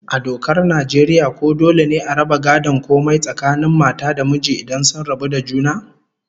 A dokar Najeriya ko dole ne a raba gadon komai tsakanin mata da miji idan sun rabu da juna?